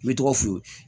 N bɛ tɔgɔ f'u ye